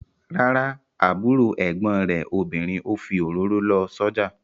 Rárá, àbúrò ẹ̀gbọ́n rẹ̀ obìnrin ò fi òróró lọ sójà